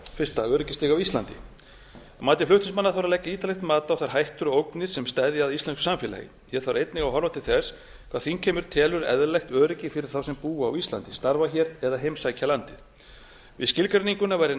fyrstu öryggisstig á íslandi að mati flutningsmanna þarf að leggja ítarlegt mat á þær hættur og ógnir sem steðja að íslensku samfélagi hér þarf einnig að horfa til þess hvað þingheimur telur eðlilegt öryggi fyrir þá sem búa á íslandi starfa hér eða heimsækja landið við skilgreininguna væri